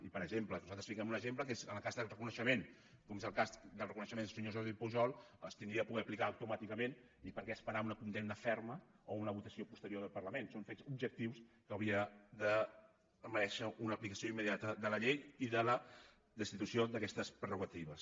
i per exemple nosaltres fiquem un exemple que és en el cas de reconeixement com és el cas del reconeixement del senyor jordi pujol s’hauria de poder aplicar automàticament i per què esperar una condemna ferma o una votació posterior del parlament són fets objectius que haurien de merèixer una aplicació immediata de la llei i de la destitució d’aquestes prerrogatives